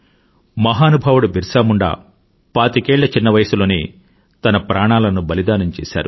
మహానుభావుడు బిర్సా ముండా పాతికేళ్ళ చిన్న వయసులోనే తన ప్రాణాలను బలిదానం చేశారు